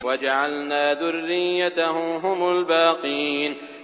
وَجَعَلْنَا ذُرِّيَّتَهُ هُمُ الْبَاقِينَ